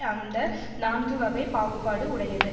அந்த நான்குவகைப் பாகுபாடு உடையது